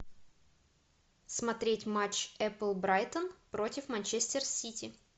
смотреть матч апл брайтон против манчестер сити